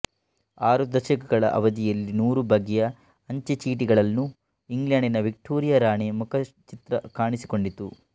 ಆರು ದಶಕಗಳ ಅವಧಿಯಲ್ಲಿ ನೂರು ಬಗೆಯ ಅಂಚೆಚೀಟಿಗಳಲ್ಲೂ ಇಂಗ್ಲೆಂಡಿನ ವಿಕ್ಟೋರಿಯ ರಾಣಿ ಮುಖಚಿತ್ರ ಕಾಣಿಸಿಕೊಂಡಿತು